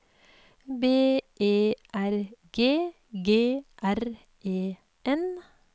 B E R G G R E N